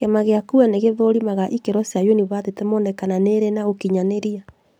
Kĩama CUE ni gĩthũrimaga ikĩro cia yunibathĩtĩ mone kana nĩĩrĩ na ũkinyanĩria